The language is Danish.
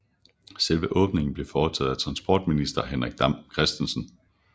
Selve åbningen blev foretaget af transportminister Henrik Dam Kristensen